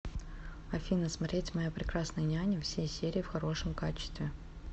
афина смотреть моя прекрасная няня все серии в хорошем качестве